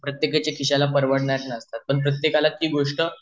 प्रत्येकाचा खिश्याला परवडणार नसतं पण प्रत्येकाला ती गोष्ट